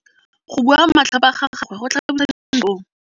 Go bua matlhapa ga gagwe go tlhabisa ditlhong.